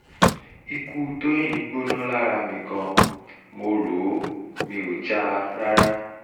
ikú tọ́yìn gbóná lára mi gan-an mo rò ó um mi ò já a um rárá